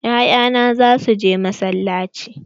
Ya'ya na za su je masallaci.